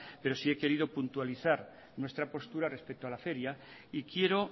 pero sí he querido puntualizar nuestra postura respecto a la feria y quiero